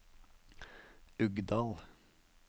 Uggdal